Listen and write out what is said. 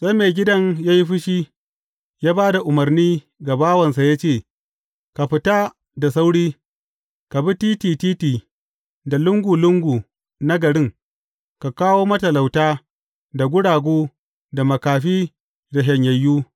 Sai maigidan ya yi fushi, ya ba da umarni ga bawansa ya ce, Ka fita da sauri, ka bi titi titi da lungu lungu na garin, ka kawo matalauta, da guragu, da makafi, da shanyayyu.’